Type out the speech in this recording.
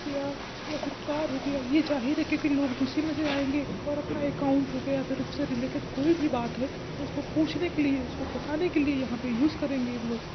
प्या या फिर कार हो गया। ये जाहिर है की लोग जेसी में से आएंगे ओर अपना एकाउंट हो गया फिर उससे रिलेटेड कोई भी बात है उसको पूछने के लिए उसको बताने के लिए यहां पे यूज़ करेंगे वो लोग।